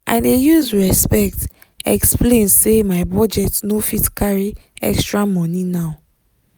i dey use respect explain say my budget no fit carry extra money now.